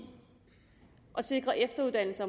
at sikre efteruddannelse